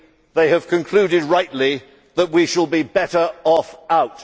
They have concluded rightly that we shall be better off out.